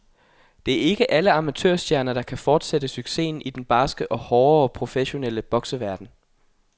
Det er ikke alle amatørstjerner, der kan fortsætte succesen i den barske og hårdere professionelle bokseverden.